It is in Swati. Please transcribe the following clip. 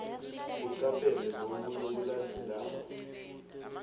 ucaphele loku lokulandzelako